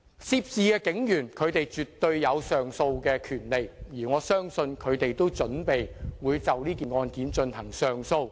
涉事警員絕對有上訴的權利，而我相信他們也準備就此案上訴。